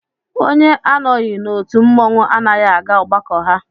Onye anọghị n'otu mmọnwụ anaghị aga ọgbakọ ha